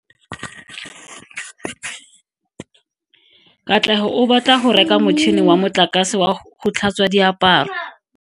Katlego o batla go reka motšhine wa motlakase wa go tlhatswa diaparo.